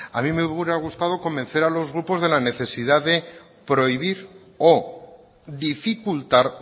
a mí me hubiera gustado convencer a los grupos de la necesidad de prohibir o dificultar